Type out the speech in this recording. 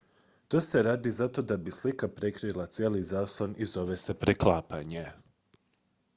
to se radi zato da bi slika prekrila cijeli zaslon i zove se preklapanje